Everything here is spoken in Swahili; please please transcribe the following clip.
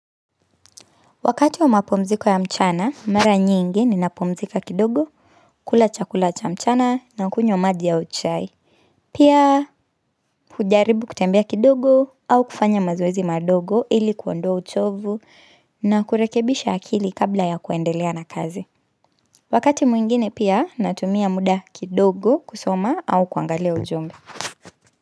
Wakati wa mapumziko ya mchana, mara nyingi ni napumzika kidogo, kula chakula cha mchana na kunywa maji au chai. Pia, kujaribu kutembia kidogo au kufanya mazoezi madogo ili kuondoa uchovu na kurekebisha akili kabla ya kuendelea na kazi. Wakati mwingine pia, natumia muda kidogo kusoma au kuangalia ujumbe.